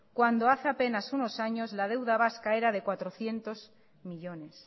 cuando hace apenas unos años la deuda vasca era de cuatrocientos millónes